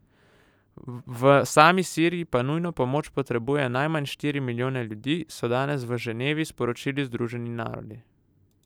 V sami Siriji pa nujno pomoč potrebuje najmanj štiri milijone ljudi, so danes v Ženevi sporočili Združeni narodi.